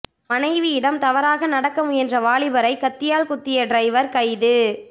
மனைவியிடம் தவறாக நடக்க முயன்ற வாலிபரை கத்தியால் குத்திய டிரைவர் கைது